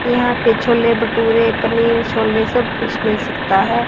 यहां पे छोले भटूरे पनीर छोले सब कुछ मिल सकता हैं।